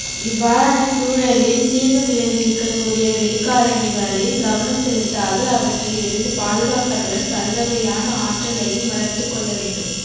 இவ்வாறன சூழலில் தீங்கு விளைவிற்க கூடிய வெளி காரணிகளில் கவனம் செலுத்தாது அவற்றில் இருந்து பாதுகாப்பதுடன் பல்வகையான ஆற்றலையும் வளர்த்துக்கொள்ளவேண்டும்